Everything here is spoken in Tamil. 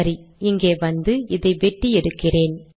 சரி இங்கே வந்து இதை வெட்டி எடுக்கிறேன்